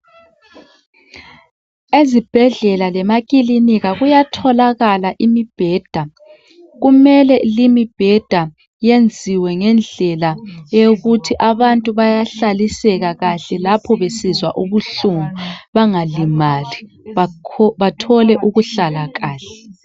Ezibhedlela lase maclinika kuyatholakala imibheda kumele leyi imibheda iyenziwe ngendlela eyokuthi abantu bayahlaliseka kahle lapho besizwa ubuhlungu bengalimali bathole ukuhlala kahle